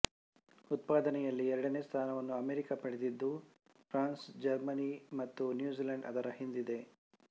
ಉತ್ಪಾದನೆಯಲ್ಲಿ ಎರಡನೇ ಸ್ಥಾನವನ್ನು ಅಮೆರಿಕ ಪಡೆದಿದ್ದು ಫ್ರಾನ್ಸ್ ಜರ್ಮನಿ ಮತ್ತು ನ್ಯೂಜಿಲೆಂಡ್ ಅದರ ಹಿಂದಿದೆ